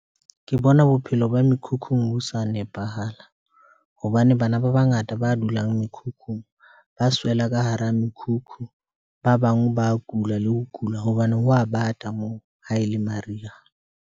Ke bona bophelo ba mekhukhung bo sa nepahala hobane bana ba bangata ba dulang mekhukhung ba swela ka hara mekhukhu. Ba bang ba kula le ho kula hobane ho a bata moo ha e le mariha.